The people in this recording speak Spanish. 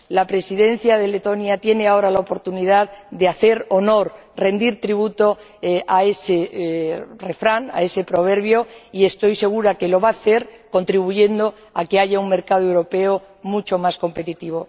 La Presidencia de Letonia tiene ahora la oportunidad de hacer honor, rendir tributo, a ese proverbio, y estoy segura de que lo va a hacer contribuyendo a que haya un mercado europeo mucho más competitivo.